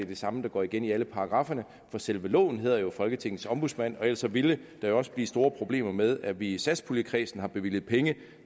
det samme der går igen i alle paragrafferne for selve loven hedder jo folketingets ombudsmand og ellers ville der også blive store problemer med at vi i satspuljekredsen har bevilget penge